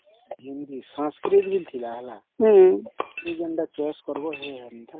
tension ରେ ଥିଲି